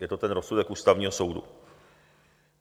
Je to ten rozsudek Ústavního soudu.